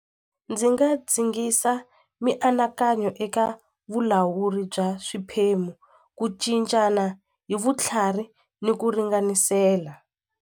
Ndzi nga zingisa mianakanyo eka vulawuri bya swiphemu ku cincana hi vutlhari ni ku ringanisela.